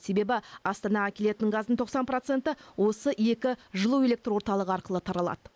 себебі астанаға келетін газдың тоқсан проценті осы екі жылу электр орталығы арқылы таралады